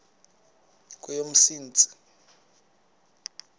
kweyomntsintsi